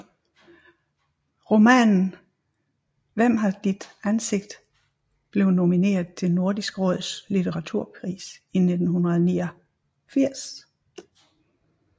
Romanen Hvem har ditt ansikt blev nomineret til Nordisk Råds litteraturpris i 1989